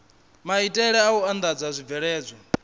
maitele a u andadza zwibveledzwa